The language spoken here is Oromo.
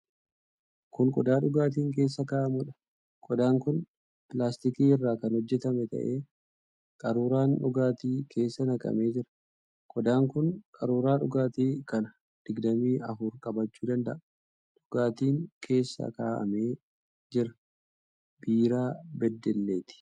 Kun qodaa dhugaatiin keessa kaa'amuudha. Qodaan kun pilaastikii irraa kan hojjetame ta'ee qaruuraan dhugaatii keessa naqamee jira. Qodaan kun qaruuraa dhugaatii kana digdamii afur qabachuu danda'a. Dhugaatiin keessa kaa'amee jira biiraa Beddelleeti.